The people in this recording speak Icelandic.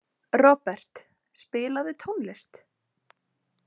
Robert, spilaðu tónlist.